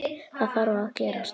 Það þarf að gerast.